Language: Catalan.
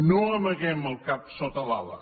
no amaguem el cap sota l’ala